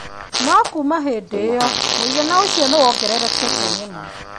No kuuma hĩndĩ ĩyo, mũigana ũcio nĩ wongererekete mũno.